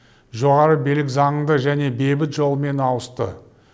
жоғары билік заңды және бейбіт жолмен ауысты